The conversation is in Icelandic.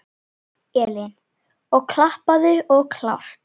Elín: Og allt klappað og klárt?